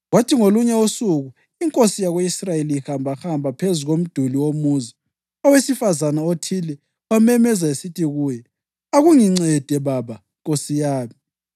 Kwathi ngolunye usuku inkosi yako-Israyeli ihambahamba phezu komduli womuzi, owesifazane othile wamemeza esithi kuyo, “Akungincede, baba nkosi yami!”